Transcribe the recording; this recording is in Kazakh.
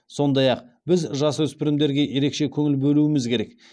сондай ақ біз жасөспірімдерге ерекше көңіл бөлуіміз керек